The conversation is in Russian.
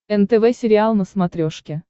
нтв сериал на смотрешке